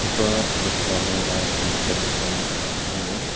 iba noksa nung ya ki temsüng ka angur.